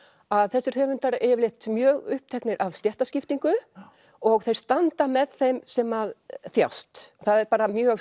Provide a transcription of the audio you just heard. að þessir höfundar eru yfirleitt mjög uppteknir af stéttaskiptingu og þeir standa með þeim sem að þjást það er bara mjög